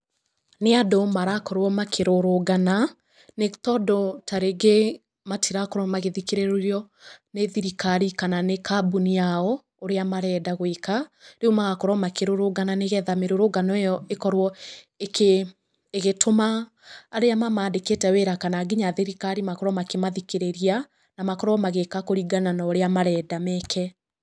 Nĩ andũ marakorwo makĩrũrũngana, nĩ tondũ tarĩngĩ matirakorwo magĩthikĩrĩrio nĩ thirikari, kana nĩ kambuni yao ũrĩa marenda gũĩka. Rĩu magakorwo makĩrũrũngana, nĩ getha mĩrũrũngano ĩyo ĩkorwo ĩgĩtũma arĩa mamandĩkĩte wĩra kana nginya thirikari makorwo makĩmathikĩrĩria, na makorwo magĩĩka kũringana na ũrĩa marenda meke.